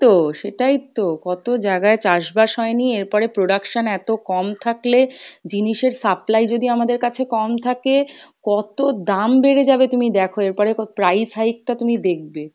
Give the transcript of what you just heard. তো ,সেটাই তো, কত জাগায় চাষ বাস হয়নি এরপরে production এতো কম থাকলে জিনিসের supply যদি আমাদের কাছে কম থাকে কত দাম বেরে যাবে তুমি দেখো, এরপরে price hike টা তুমি দেখবে,